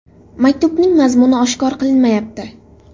Maktubning mazmuni oshkor qilinmayapti.